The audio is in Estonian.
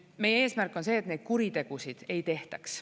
Meie eesmärk on see, et neid kuritegusid ei tehtaks.